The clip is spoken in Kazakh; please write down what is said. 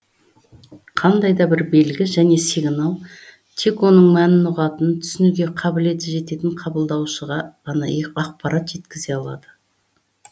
қандай да бір белгі және сигнал тек оның мәнін ұғатын түсінуге қабілеті жететін қабылдаушыға ғана ақпарат жеткізе алады